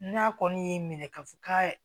N'a kɔni y'i minɛ k'a fɔ ka